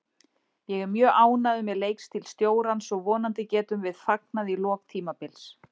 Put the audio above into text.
Ég er mjög ánægður með leikstíl stjórans og vonandi getum við fagnað í lok tímabils.